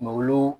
Malo